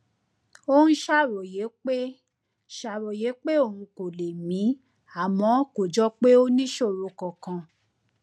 ó ń ṣàròyé pé ṣàròyé pé òun kò lè mí àmọ kò jọ pé ó níṣòro kankan